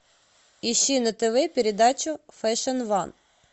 ищи на тв передачу фэшн ван